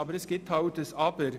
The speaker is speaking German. Doch es gibt ein «Aber».